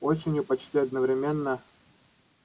осенью почти одновременно